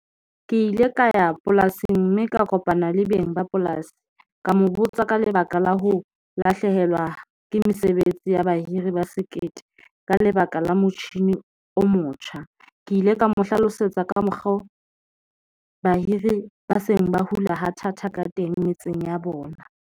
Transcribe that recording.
Ke ile ka ya polasing mme ka kopana le beng ba polasi ka mo botsa ka lebaka la ho lahlehelwa ke mesebetsi ya bahiri ba sekete, ka lebaka la motjhini o motjha, ke ile ka mo hlalosetsa ka mokgwa o bahiri ba seng ba hula ka thata ka teng metseng ya bona.